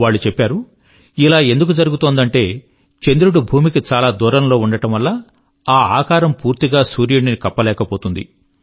వాళ్ళు చెప్పారు ఇలా ఎందుకు జరుగుతుందంటే చంద్రుడు భూమికి చాలా దూరంలో ఉండడం వల్ల ఆ ఆకారం పూర్తిగా సూర్యుడిని కప్పలేకపోతుంది